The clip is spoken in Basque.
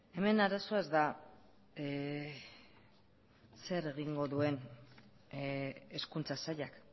hemen arazoa ez da zer egingo duen hezkuntza sailak